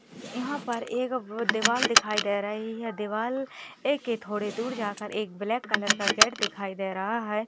यहा पर एक दीवाल दिखाई दे रही है दीवाल एके थोड़ी दूर जाकर एक ब्लैक कलर का गेट दिखाई दे रहा है।